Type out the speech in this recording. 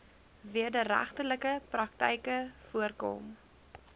wederregtelike praktyke voorkom